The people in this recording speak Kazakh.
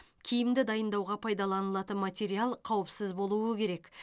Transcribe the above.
киімді дайындауға пайдаланылатын материал қауіпсіз болуы керек